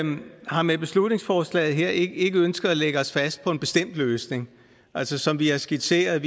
har med beslutningsforslaget her ikke ikke ønsket at lægge os fast på en bestemt løsning altså som vi har skitseret